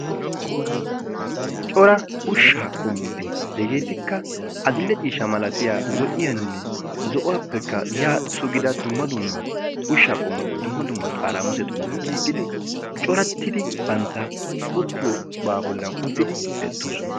cora ushshaa qommoti hegeetikka adidhdhe ciisha malatiya zo7iyaanne zo7uwaappekka yaa sugida dumma dummaa ushshaa qommoti dumma dummaa xaaraamusetuni giigidi corattidi bantta uttiyoobaa bollan uttidi beettoosona.